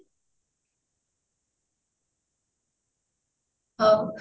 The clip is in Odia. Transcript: ହଉ